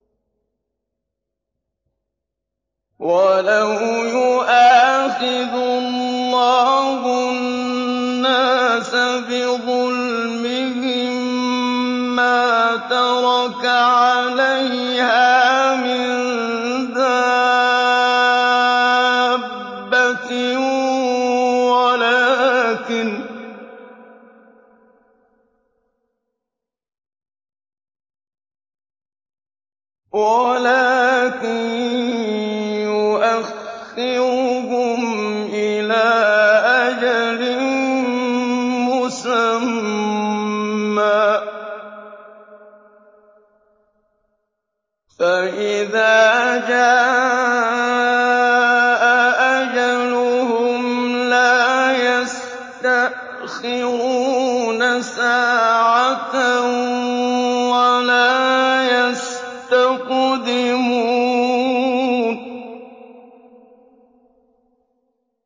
وَلَوْ يُؤَاخِذُ اللَّهُ النَّاسَ بِظُلْمِهِم مَّا تَرَكَ عَلَيْهَا مِن دَابَّةٍ وَلَٰكِن يُؤَخِّرُهُمْ إِلَىٰ أَجَلٍ مُّسَمًّى ۖ فَإِذَا جَاءَ أَجَلُهُمْ لَا يَسْتَأْخِرُونَ سَاعَةً ۖ وَلَا يَسْتَقْدِمُونَ